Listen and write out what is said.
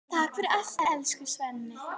Takk fyrir allt, elsku Svenni.